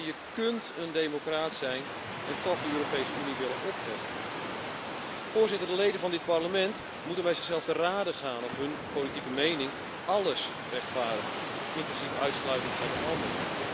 Je kunt een democraat zijn en toch de Europese Unie willen opheffen. De leden van dit Parlement moeten bij zichzelf te rade gaan of hun politieke mening alles rechtvaardigt, inclusief uitsluiting van de ander.